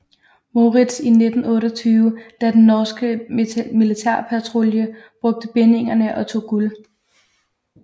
Moritz i 1928 da den norske militærpatrulje brugte bindingerne og tog guld